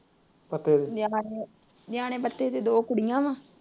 ਨਿਆਣੇ ਦੇ ਦੋ ਕੁੜੀਆਂ ਆ।